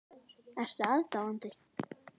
Ertu aðdáandi?